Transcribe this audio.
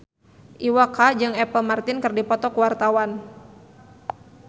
Iwa K jeung Apple Martin keur dipoto ku wartawan